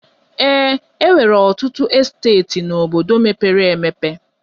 Ee, e nwere ọtụtụ esteeti n'obodo mepere emepe.